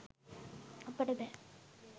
අපට බෑ